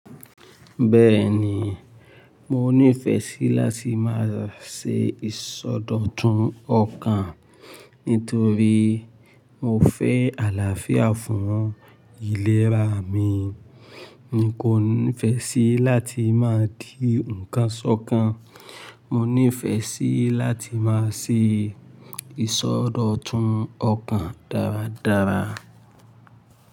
Bẹ́ẹ̀ni, mo nífẹsí láti máa ṣe ìsọdọ̀tun ọkàn nítorí mo fẹ́ àlàáfíà fún ìlera mi. N ko nífẹsí láti máa di nǹkan sọ́kàn. Mo nífẹ́ sí láti máa ṣe ìsọdọ̀tun ọkàn dáradára.